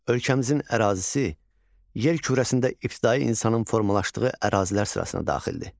Ölkəmizin ərazisi yer kürəsində ibtidai insanın formalaşdığı ərazilər sırasına daxildir.